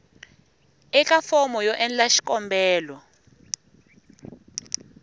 eka fomo yo endla xikombelo